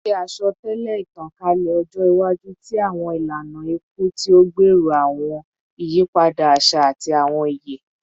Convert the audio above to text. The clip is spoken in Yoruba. Ṣe asọtẹlẹ itankalẹ ọjọ iwaju ti awọn ilana iku ti o gbero awọn iyipada aṣa ati awọn iye